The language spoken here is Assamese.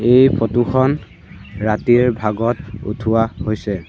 এই ফটো খন ৰাতিৰে ভাগত উঠোৱা হৈছে।